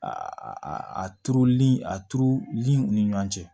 A a turuli a turuliw ni ɲɔgɔn cɛ